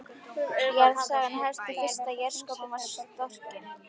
Jarðsagan hefst þá fyrst er jarðskorpan varð storkin.